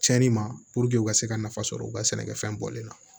Cɛni ma u ka se ka nafa sɔrɔ u ka sɛnɛkɛfɛn bɔlen na